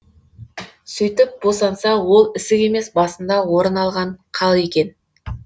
сөйтіп босанса ол ісік емес басында орын алған қал екен